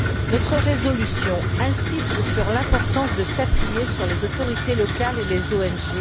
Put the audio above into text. Notre résolution insiste sur l'importance de s'appuyer sur les autorités locales et les ONG.